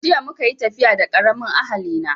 Jiya muka yi tafiya da karamin ahali na